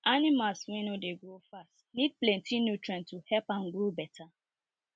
animals wey no dey grow fast need plenty nutrients to help am grow better